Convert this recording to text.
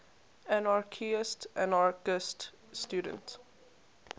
anarchistes anarchist student